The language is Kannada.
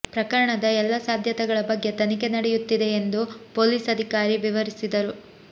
ಪ್ರಕರಣದ ಎಲ್ಲ ಸಾಧ್ಯತೆಗಳ ಬಗ್ಗೆ ತನಿಖೆ ನಡೆಂುುುತ್ತಿದೆ ಎಂದು ಪೊಲೀಸ್ ಅದಿಕಾರಿ ವಿವರಿಸಿದರು